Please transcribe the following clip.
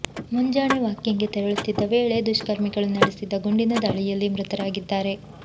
ಮುಂಜಾಣೆ ವಾಕಿಂಗ್ಗೆ ತೆರಳುತ್ತಿದ್ದ ವೇಳೆ ದುಷ್ಕರ್ಮಿಗಳು ನಡೆಸಿದ್ದ ಗುಂಡಿನ ದಾಳಿಯಲ್ಲಿ ಮೃತರಾಗಿದ್ದಾರೆ